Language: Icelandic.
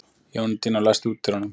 Jóhanndína, læstu útidyrunum.